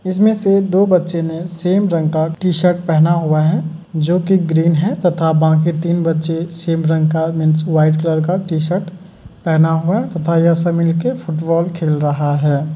इसमें से दो बच्चे ने सेम रंग का टी शर्ट पहना हुआ है जो की ग्रीन है तथा बाकी तीन बच्चे सेम रंग का मीन्स वाइट कलर का टी शर्ट पहना हुआ है तथा ये सब मिल कर फुटबॉल खेल रहा है।